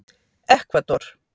Ekvador